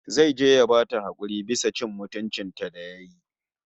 Zai je ya bata hakuri bisa cin mutuncin ta da yayi